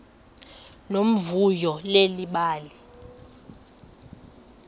nomvuyo leli bali